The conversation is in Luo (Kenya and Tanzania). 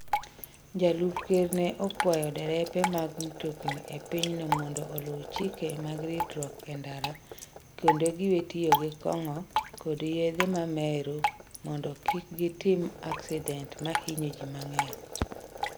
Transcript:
Jalup Ker ne okwayo derepe mag mtokni e pinyno mondo oluw chike mag ritruok e ndara kendo giwe tiyo gi kong'o kod yedhe mamero mondo kik gitim aksident ma hinyo ji mang'eny.